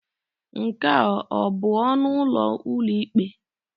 Nke a ọ bụ ọnụ ụlọ ụlọikpe?